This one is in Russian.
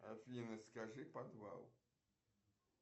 афина скажи подвал